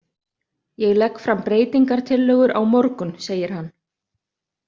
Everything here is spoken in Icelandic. Ég legg fram breytingartillögur á morgun, segir hann.